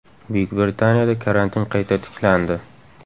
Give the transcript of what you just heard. Buyuk Britaniyada karantin qayta tiklandi.